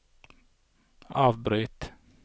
avbryt